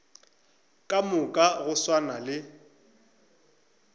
ka moka go swana le